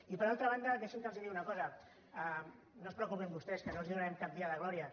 i per altra banda deixinme que els digui una cosa no es preocupin vostès que no els donarem cap dia de gloria